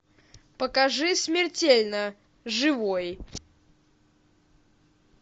покажи смертельно живой